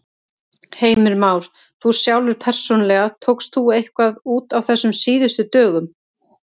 Heimir Már: Þú sjálfur persónulega, tókst þú eitthvað út á þessum síðustu dögum?